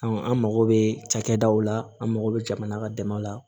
an mago bɛ cakɛdaw la an mago bɛ jamana ka dɛmɛw la